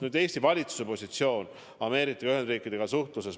Nüüd, Eesti valitsuse positsioon suhtluses Ameerika Ühendriikidega.